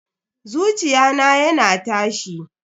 Zuciya na yana tashi.